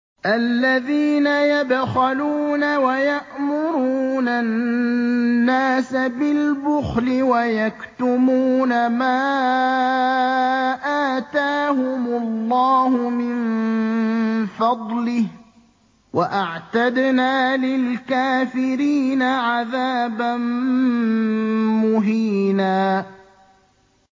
الَّذِينَ يَبْخَلُونَ وَيَأْمُرُونَ النَّاسَ بِالْبُخْلِ وَيَكْتُمُونَ مَا آتَاهُمُ اللَّهُ مِن فَضْلِهِ ۗ وَأَعْتَدْنَا لِلْكَافِرِينَ عَذَابًا مُّهِينًا